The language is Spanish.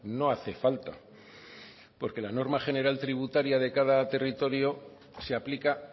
no hace falta porque la norma general tributaria de cada territorio se aplica a